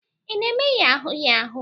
Ị na-eme yahoo yahoo?